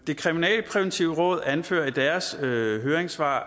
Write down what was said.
det kriminalpræventive råd anfører i deres høringssvar